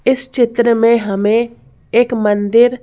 इस चित्र में हमें एक मंदिर--